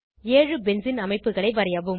ஏழு பென்சீன் அமைப்புகளை வரையவும்